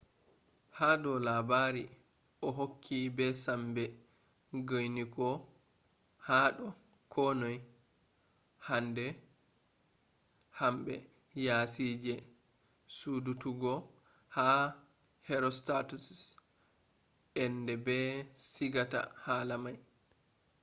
hado labari o hokki be sambe guinigo hado ko noi. hanbe yasije sudututgo ha herostatus’s ende be sigata hala mai